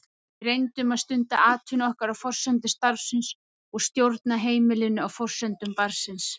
Við reyndum að stunda atvinnu okkar á forsendum starfsins og stjórna heimilinu á forsendum barnsins.